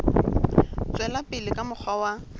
tswela pele ka mokgwa wa